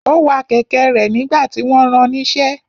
Ó wa kẹ̀kẹ́ rẹ̀ nígbà tí wọ́n ran níṣẹ́.